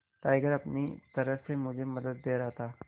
tiger अपनी तरह से मुझे मदद दे रहा था